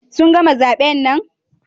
Sun gama zaben nan?